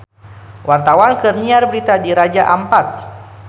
Wartawan keur nyiar berita di Raja Ampat